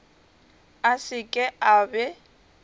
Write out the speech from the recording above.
a se ke a be